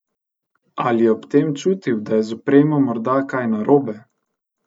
Ali je ob tem čutil, da je z opremo morda kaj narobe?